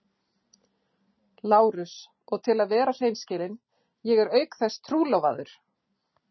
LÁRUS: Og til að vera hreinskilinn: ég er auk þess trúlofaður!